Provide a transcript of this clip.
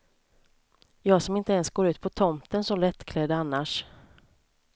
Jag som inte ens går ut på tomten så lättklädd annars.